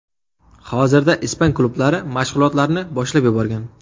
Hozirda ispan klublari mashg‘ulotlarni boshlab yuborgan.